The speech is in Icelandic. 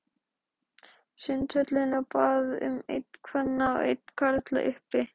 Sundhöllinni og bað um einn kvenna og einn karla, uppi.